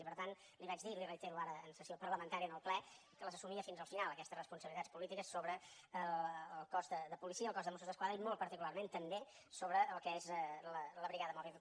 i per tant li vaig dir i li reitero ara en sessió parlamentària en el ple que les assumia fins al final aquestes responsabilitats polítiques sobre el cos de policia i el cos de mossos d’esquadra i molt particularment també sobre el que és la brigada mòbil